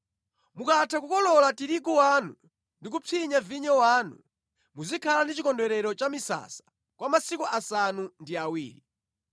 Mukatha kukolola tirigu wanu ndi kupsinya vinyo wanu, muzikhala ndi Chikondwerero cha Misasa kwa masiku asanu ndi awiri.